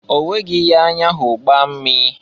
Onweghi ihe anya hụrụ gbaa mmee.